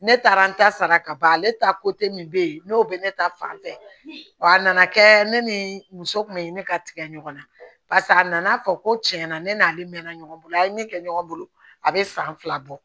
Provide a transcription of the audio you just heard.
Ne taara n ta sara kaban ale ta min bɛ yen n'o bɛ ne ta fan fɛ wa a nana kɛ ne ni muso kun bɛ ne ka tigɛ ɲɔgɔn na barisa a nana fɔ ko tiɲɛ na ne n'ale mɛnna ɲɔgɔn bolo a ye ne kɛ ɲɔgɔn bolo a bɛ san fila bɔ